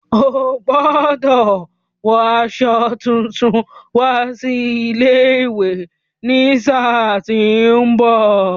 Ó gbọ́dọ̀ wo aṣọ tuntun wá sí ilé-ìwé ní sáà tí ó ń bọ̀.